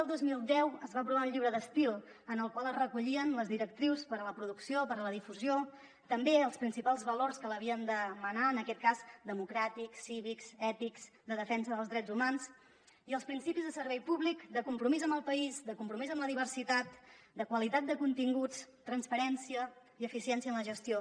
el dos mil deu es va aprovar el llibre d’estil en el qual es recollien les directrius per a la producció per a la difusió també els principals valors que l’havien de menar en aquest cas democràtics cívics ètics de defensa dels drets humans i els principis de servei públic de compromís amb el país de compromís amb la diversitat de qualitat de continguts transparència i eficiència en la gestió